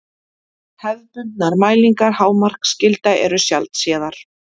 Hefðbundnar mælingar hámarksgilda eru sjaldséðar.